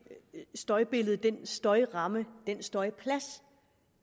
støjbillede den støjramme den støjplads